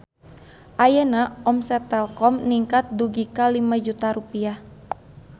Ayeuna omset Telkom ningkat dugi ka 5 juta rupiah